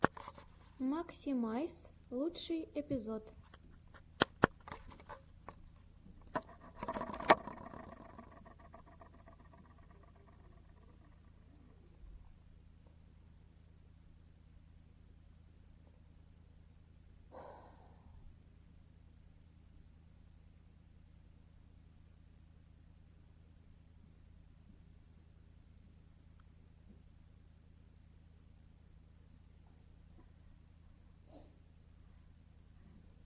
максимайс лучший эпизод